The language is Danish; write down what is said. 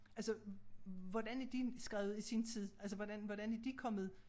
Altså hvordan er de skrevet i sin tid altså hvordan hvordan er de kommet